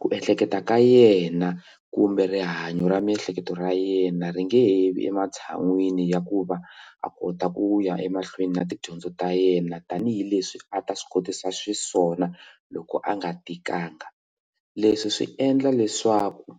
ku ehleketa ka yena kumbe rihanyo ra miehleketo ra yena ri nge vi ematshan'wini ya ku va a kota ku ya emahlweni na tidyondzo ta yena tanihileswi a ta swi kotisa xiswona loko a nga tikanga leswi swi endla leswaku